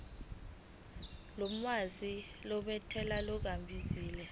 olwazi lwentela ngokunabile